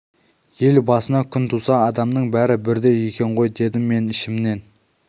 ел басына күн туса адамның бәрі бірдей екен ғой дедім мен ішімнен